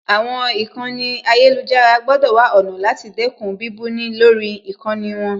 Àwọn ìkànnì ayélujára gbọ́dọ̀ wá ọ̀nà láti dẹ́kun bíbú ni lórí ìkànnì wọn